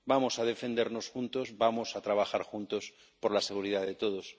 Vamos a defendernos juntos, vamos a trabajar juntos por la seguridad de todos.